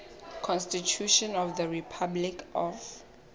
constitution of the republic of